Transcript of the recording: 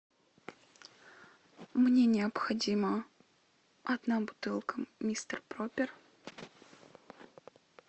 мне необходимо одна бутылка мистер проппер